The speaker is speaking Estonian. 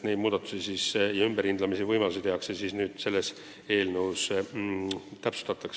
Sellekohaseid ümberhindamise võimalusi saab eelnõus täpsustada.